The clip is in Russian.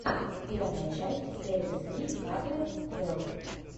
первая часть кэрри сри хандрэд твэлв